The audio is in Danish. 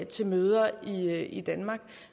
til møder i danmark